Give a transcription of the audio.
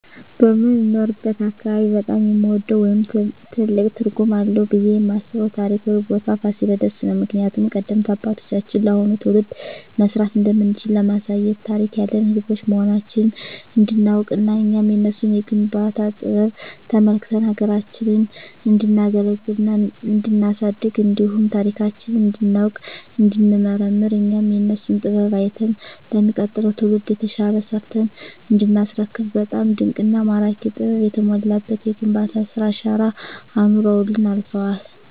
በምኖርበት አካባቢ በጣም የምወደው ወይም ትልቅ ትርጉም አለዉ ብየ የማስበው ታሪካዊ ቦታ ፋሲለደስ ነው። ምክንያቱም ቀደምት አባቶቻችን ለአሁኑ ትውልድ መስራት እንደምንችል ለማሳየት ታሪክ ያለን ህዝቦች መሆናችንን እንዲናውቅና እኛም የነሱን የግንባታ ጥበብ ተመልክተን ሀገራችንን እንዲናገለግልና እንዲናሳድግ እንዲሁም ታሪካችንን እንዲናውቅ እንዲንመራመር እኛም የነሱን ጥበብ አይተን ለሚቀጥለው ትውልድ የተሻለ ሰርተን እንዲናስረክብ በጣም ድንቅና ማራኪ ጥበብ የተሞላበት የግንባታ ስራ አሻራ አኑረውልን አልፈዋል።